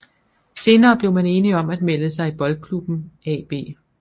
Senere blev man enige om at melde sig i Boldklubben AaB